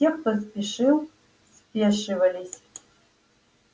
те кто спешил спешивались